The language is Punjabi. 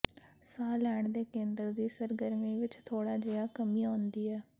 ਸਾਹ ਲੈਣ ਦੇ ਕੇਂਦਰ ਦੀ ਸਰਗਰਮੀ ਵਿੱਚ ਥੋੜ੍ਹਾ ਜਿਹਾ ਕਮੀ ਆਉਂਦੀ ਹੈ